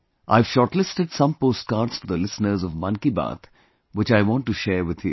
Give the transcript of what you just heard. I have shortlisted some postcards for the listeners of 'Mann Ki Baat' which I want to share with you